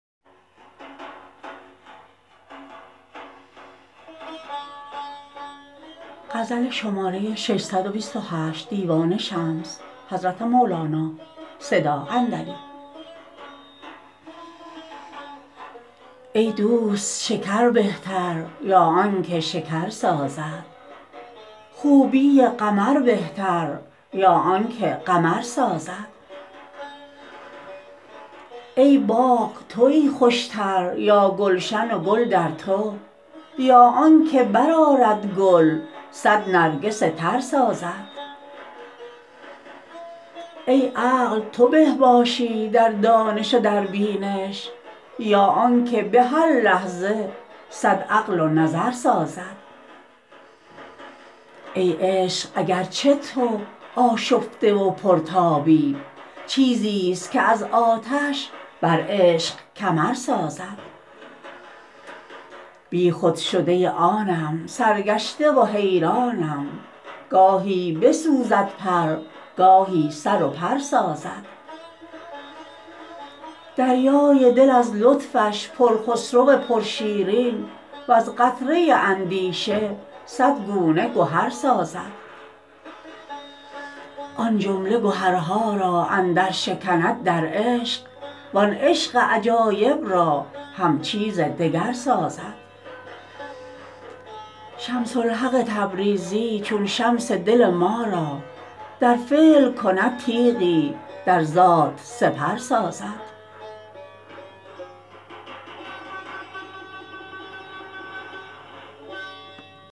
ای دوست شکر بهتر یا آنک شکر سازد خوبی قمر بهتر یا آنک قمر سازد ای باغ تویی خوشتر یا گلشن گل در تو یا آنک برآرد گل صد نرگس تر سازد ای عقل تو به باشی در دانش و در بینش یا آنک به هر لحظه صد عقل و نظر سازد ای عشق اگر چه تو آشفته و پرتابی چیزی ست که از آتش بر عشق کمر سازد بیخود شده ی آنم سرگشته و حیرانم گاهی م بسوزد پر گاهی سر و پر سازد دریای دل از لطفش پر خسرو و پر شیرین وز قطره اندیشه صد گونه گهر سازد آن جمله گهر ها را اندر شکند در عشق وان عشق عجایب را هم چیز دگر سازد شمس الحق تبریزی چون شمس دل ما را در فعل کند تیغی در ذات سپر سازد